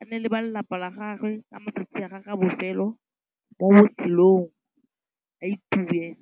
a nne le ba lelapa la gagwe ka matsatsi a gagwe a bofelo mo botshelong, a itumele.